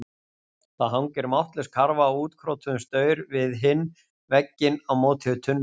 Það hangir máttlaus karfa á útkrotuðum staur við hinn vegginn á móti tunnunum.